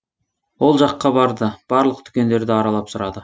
ол жаққа барды барлық дүкендерді аралап сұрады